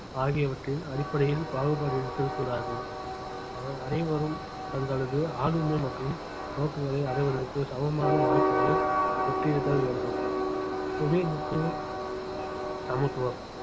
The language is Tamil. ஆகியவற்றின் அடிப்படையில் பாகுபாடு இருத்தல் கூடாது அவர் அனைவரும் தங்களது ஆளுமை மற்றும் நோக்கங்களை அடைவதற்கு சமமான வாய்ப்புகளை பெற்றிருத்தல் வேண்டும் புவிஈர்ப்பு சமத்துவம்